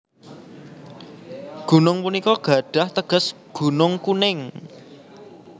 Gunung punika gadhah teges Gunung Kuning